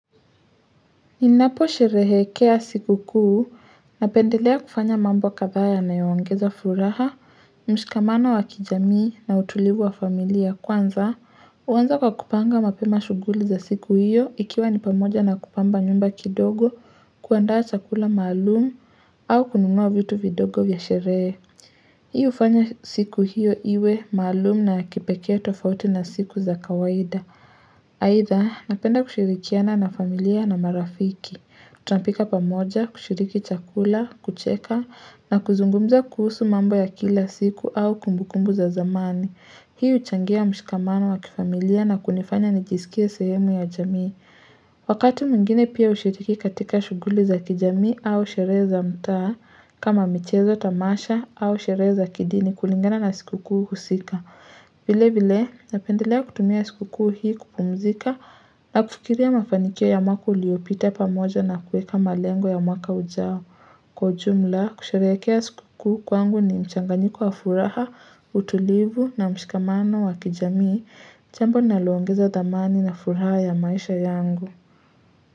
Ninapo sherehekea siku kuu, napendelea kufanya mambo kadhaa yanayo ongezafuraha, mshikamana wa kijamii na utulibu wa familia kwanza, uwanza kwa kupanga mapema shuguli za siku hiyo ikiwa nipamoja na kupamba nyumba kidogo kuandaa chakula maalumu au kunungua vitu vidogo vya sherehe. Hii ufanya siku hiyo iwe maalumu na kipekea tofauti na siku za kawaida. Haidhaa napenda kushirikiana na familia na marafiki Kuta pika pamoja, kushiriki chakula, kucheka na kuzungumza kuhusu mambo ya kila siku au kumbukumbu za zamani Hii uchangia mshikamano wa kifamilia na kunifanya nijisikiae sehemu ya jamii Wakati mwingine pia ushiriki katika shuguli za kijamii au sheree za mtaa kama michezo tamasha au sheree za kidini kulingana na sikukuu husika vile vile, napendelea kutumia sikuku hii kupumzika na kufikiria mafanikia ya mwaka uliopita pamoja na kueka malengo ya mwaka ujao. Kwa ujumla, kusharekea sikuku kwangu ni mchanganyiko wa furaha, utulivu na mshikamano wa kijamii, jambo linalongeza dhamani na furaha ya maisha yangu.